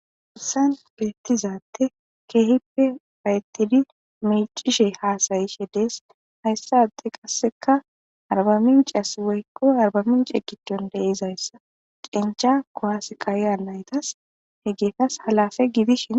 Hassan beettizadte keehippe payettidi mecishe haasayishe dees hayssape qasseka arbamincias woyikko arbaminci gidon deizayssa cincha kowas kayiya naytas he geetas halafe gidishi.